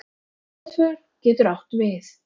Aðför getur átt við